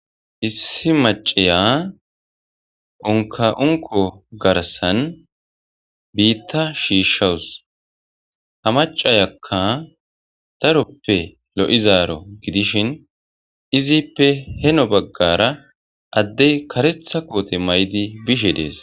issi maciya unka unko garsan biitta shiishshawus ha macayakka daroppe lo7izaaro gidishin izippe heno baggara adde karetha koote may7di bishe dees